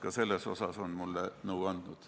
Ka selles on ta mulle nõu andnud.